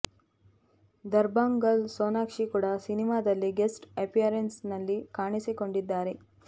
Dabang girl Sonakshi ಕೂಡ ಸಿನಿಮಾದಲ್ಲಿ guest appearance ನಲ್ಲಿ ಕಾಣಿಸಿಕೊಂಡಿದ್ದಾರೆ